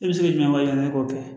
I bɛ se k'i ka wari ɲini k'o kɛ